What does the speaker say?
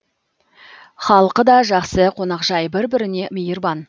халқы да жақсы қонақжай бір біріне мейірбан